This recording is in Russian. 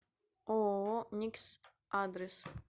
ооо никс адрес